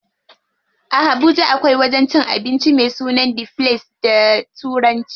A Habuja akwai wajen cin abincin me sunan The place da turanci.